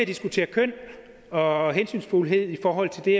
diskuteret køn og hensynsfuldhed i forhold til det